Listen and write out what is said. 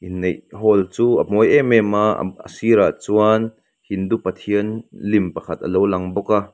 inneih hall chu a mawi em em a a sirah chuan hindu pathian lim pakhat hi alo lang bawk a.